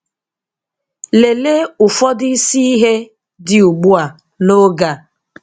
Lelee ụfọdụ isi ihe dị ugbu a n'oge a.